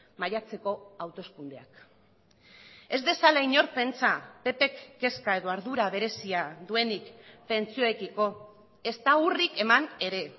maiatzeko hauteskundeak ez dezala inork pentsa ppk kezka edo ardura berezia duenik pentsioekiko ezta urrik eman ere